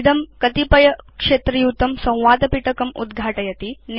इदं कतिपयक्षेत्रयुतं संवादपिटकम् उद्घाटयति